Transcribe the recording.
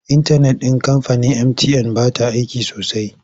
Intanet ɗin kamfanin mtn ba ta aiki sosai.